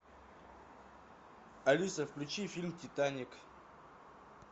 алиса включи фильм титаник